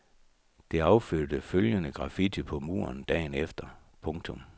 Det affødte følgende graffiti på muren dagen efter. punktum